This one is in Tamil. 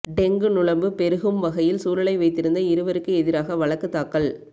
டெங்கு நுளம்பு பெருகும் வகையில் சூழலை வைத்திருந்த இருவக்கு எதிராக வழக்கு தாக்கல்